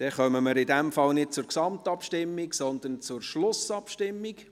In diesem Fall kommen wir nicht zur Gesamtabstimmung, sondern zur Schlussabstimmung.